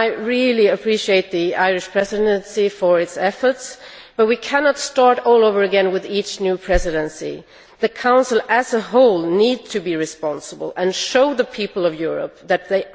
I really appreciate the efforts made by the Irish Presidency, but we cannot start all over again with each new Presidency. The Council as a whole needs to be responsible and to show the people of Europe that it